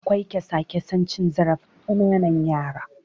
Akwai kyasa-kyasan cin zarafin ƙananan yara.